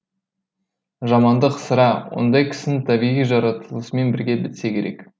жамандық сірә ондай кісінің табиғи жаратылысымен бірге бітсе керек